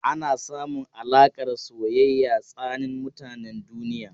Ana samun alaƙar soyayya tsanin mutanen duniya.